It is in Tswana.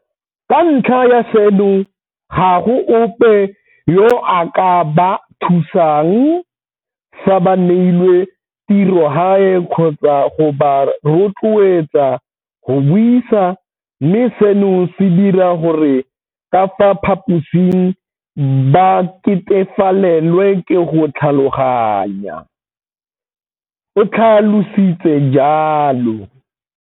Ka ntlha ya seno, ga go ope yo a ka ba thusang fa ba neilwe tirogae kgotsa go ba rotloeletsa go buisa, mme seno se dira gore ka fa phaposing ba ketefalelwe ke go tlhaloganya, o tlha lositse jalo.